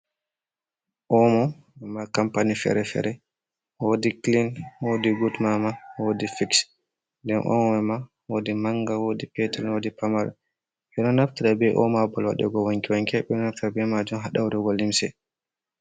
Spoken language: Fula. Omo kampani fere fere, wodi klin wodi gud mama wodi fiks, nden omo mai ma wodi manga wodi petel wodi pamarel , ɓe ɗo naftira be omo ha babal waɗugo wanke wanke, ɓe ɗo naftira ɗum ha lotugo limse.